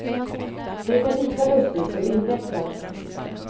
Det är lika lustigt som invecklat.